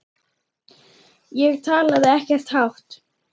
Ég talaði ekkert hátt.